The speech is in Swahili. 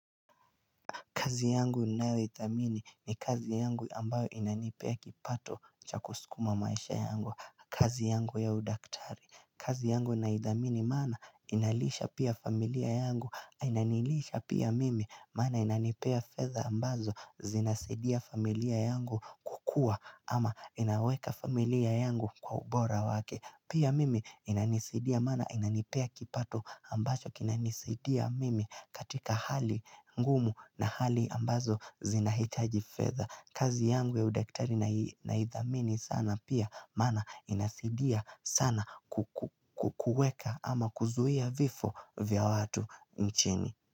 Kazi yangu ninayoithamini ni kazi yangu ambayo inanipea kipato cha kusukuma maisha yangu. Kazi yangu ya udaktari. Kazi yangu naidhamini maana inalisha pia familia yangu. Inanilisha pia mimi maana inanipea fedha ambazo zinasaidia familia yangu kukua ama inaweka familia yangu kwa ubora wake. Pia mimi inanisidia maana inanipea kipato ambacho kinanisaidia mimi katika hali ngumu na hali ambazo zinahitaji fedha kazi yangu ya udaktari naidhamini sana pia maana inasaidia sana ku kuweka ama kuzuia vifo vya watu nchini.